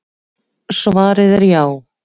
Svarið er já.